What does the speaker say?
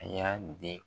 A y'a di